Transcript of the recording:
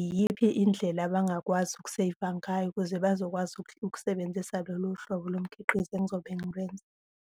iyiphi indlela abangakwazi uku-save-a ngayo ukuze bazokwazi ukusebenzisa loluhlobo lomkhiqizo engizobe ngilwenza.